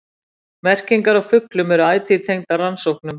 Merkingar á fuglum eru ætíð tengdar rannsóknum.